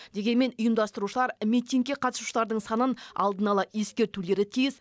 дегенмен ұйымдастырушылар митингке қатысушылардың санын алдын ала ескертулері тиіс